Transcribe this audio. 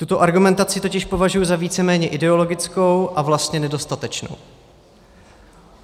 Tuto argumentaci totiž považuji za víceméně ideologickou a vlastně nedostatečnou.